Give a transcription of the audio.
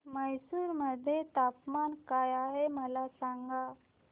म्हैसूर मध्ये तापमान काय आहे मला सांगा